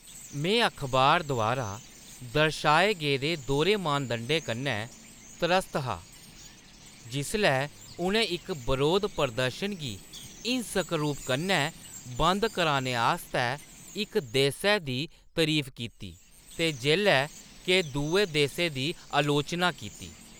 में अखबार द्वारा दर्शाए गेदे दोह्‌रे मानदंडें कन्नै त्रस्त हा जिसलै उʼनें इक बरोध प्रदर्शन गी हिंसक रूप कन्नै बंद कराने आस्तै इक देसै दी तरीफ कीती ते जेल्लै के दुए देसै दी आलोचना कीती।